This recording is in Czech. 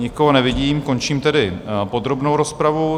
Nikoho nevidím, končím tedy podrobnou rozpravu.